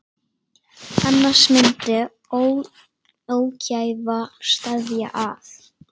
Annars myndi ógæfa steðja að.